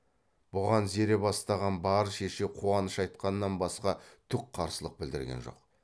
бұған зере бастаған бар шеше қуаныш айтқаннан басқа түк қарсылық білдірген жоқ